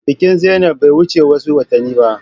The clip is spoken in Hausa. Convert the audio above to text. Bikin zainab bai wuce wasu watanni ba.